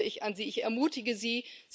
da appelliere ich an Sie, ich ermutige Sie.